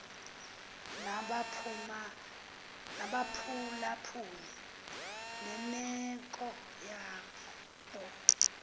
nabaphulaphuli nemeko yabo